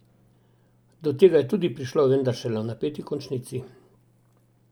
Do tega je tudi prišlo, vendar šele v napeti končnici.